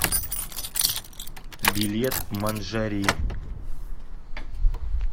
билет манжари